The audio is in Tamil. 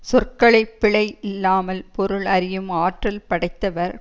சொற்களை பிழை இல்லாமல் பொருள் அறியும் ஆற்றல் படைத்தவர்